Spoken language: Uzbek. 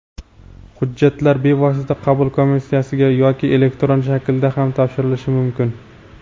Hujjatlar bevosita qabul komissiyasiga yoki elektron shaklda ham topshirilishi mumkin.